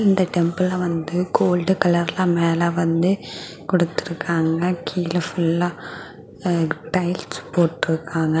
இந்த டெம்பிள் வந்து கோல்ட் கலர்ல மேல வந்து கொடுத்து இருக்காங்க கீழே ஃபுல்லா அ டைல்ஸ் போட்டுருக்காங்க.